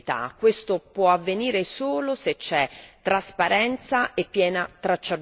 Questo può avvenire solo se c'è trasparenza e piena tracciabilità.